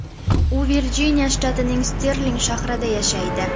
U Virjiniya shtatining Sterling shahrida yashaydi.